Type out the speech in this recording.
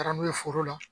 Taara n'u ye foro la